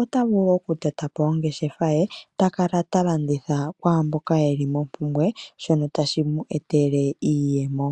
otavulu okutota po ongeshefa ye ta kala talanditha kwaamboka yeli mompumbwe shono tashi mu etele iiyemo.